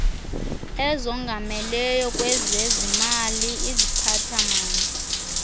ezongameleyo kwezezimali iziphathamandla